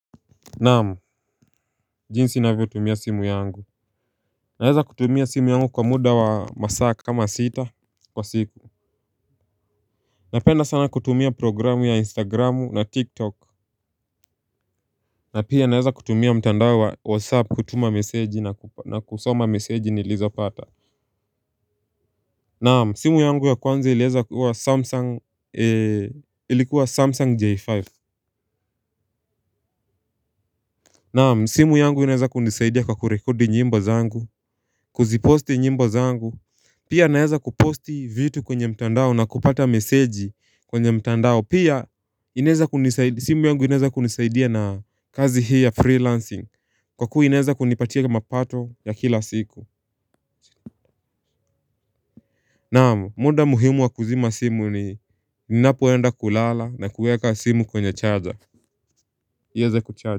Naam, jinsi ninavyo tumia simu yangu. Naeza kutumia simu yangu kwa muda wa masaa kama sita kwa siku. Napenda sana kutumia programu ya Instagramu na TikTok. Na pia naeza kutumia mtandao wa WhatsApp kutuma meseji na kusoma meseji nilizo pata. Naam, simu yangu ya kwanzi ilikuwa Samsung J5. Naam, simu yangu inaeza kunisaidia kwa kurekodi nyimbo zangu, kuziposti nyimbo zangu. Pia naeza kuposti vitu kwenye mtandao na kupata meseji kwenye mtandao. Pia inaeza kunisaidia, simu yangu inaeza kunisaidia na kazi hii ya freelancing. Kwa kua ineza kunipatia mapato ya kila siku. Naam, muda muhimu wa kuzima simu ni ninapoenda kulala na kuweka simu kwenye charger ieze kucharge.